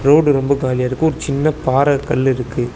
Road ரொம்ப காலியாருக்கு ஒரு சின்ன பாற கல்லுருக்கு.